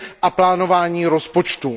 a plánování rozpočtu.